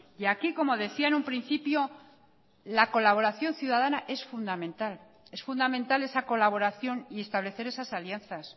y aquí como decía en un principio la colaboración ciudadana es fundamental es fundamental esa colaboración y establecer esas alianzas